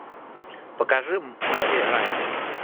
покажи мэри райли